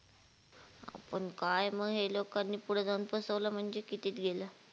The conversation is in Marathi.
आपण काय मग हे लोकांनी पुढं जाऊन फसवलं म्हणजे कितीत गेलं?